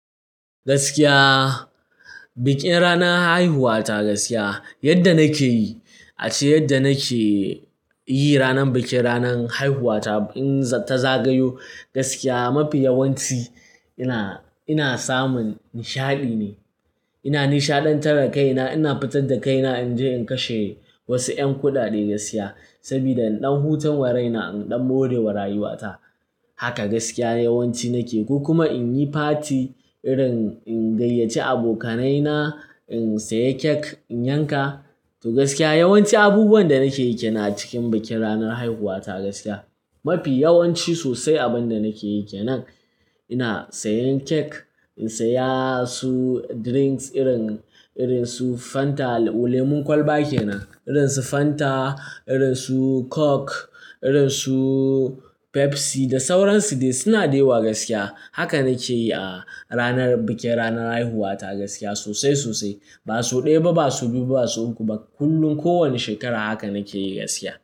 Gaskiya bikin ranar haihuwata, gaskiya yadda nake yi ace yadda nake yi ranar bikin ranar haihuwata in ta zagayo gaskiya mafi yawanci ina, ina samun nishaɗi ne. Ina nishaɗantar da kaina, ina fitar da kaina in je in kashe wasu 'yan kuɗaɗe gaskiya saboda in ɗan hutun wa rai na, in ɗan more wa rayuwa ta. Haka gaskiya yawanci nake ko kuma in yi party irin in gayyace abokanaina, in saya cake in yanka. To gaskiya yawanci abubuwan da nake yi kenan a cikin bikin ranar haihuwata gaskiya. Mafi yawanci sosai abin da nake yake nan ina sayan cake, in saya su drinks irin, irin su Fanta lemn kwalba ke nan, irin su Fanta, irin su Coke, irin su Pepsi da sauran su dai suna da yawa gaskiya. Haka nake yi a ranar bikin ranar haihuwata gaskiya sosai, sosai. Ba sau ɗaya ba, ba sau biyu, ba sau uku ba kullum kowane shekara haka nake yi gaskiya.